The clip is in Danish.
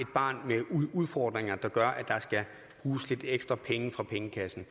barn med udfordringer der gør at der skal bruges lidt ekstra penge fra pengekassen